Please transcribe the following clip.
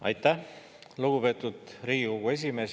Aitäh, lugupeetud Riigikogu esimees!